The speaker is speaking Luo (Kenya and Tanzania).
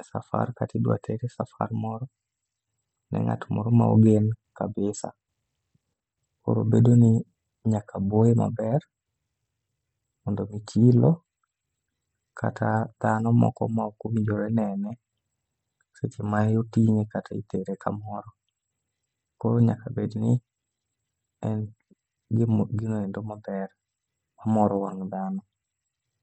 esafar kata idwa tere e safar moro ni ngat moro maogen kabisa koro bedo ni nyaka oboe maber mondo mii chilo kata dhano moko mokowinjore nene, seche maotinge kata itere kamoro, koro nyaka bed ni en gino endo maber , omoro wang dhano.